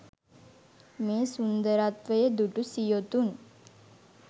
මේ සුන්දරත්වය දුටු සියොතුන්